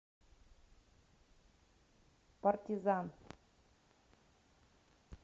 партизан